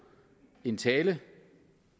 en tale